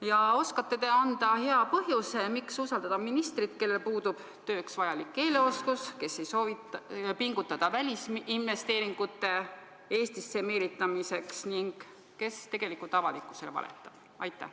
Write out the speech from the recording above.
Kas te oskate öelda hea põhjuse, miks usaldada ministrit, kellel puudub tööks vajalik keeleoskus, kes ei soovi pingutada välisinvesteeringute Eestisse meelitamiseks ning kes tegelikult avalikkusele valetab?